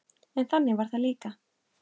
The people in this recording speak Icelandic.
En þannig var það líka.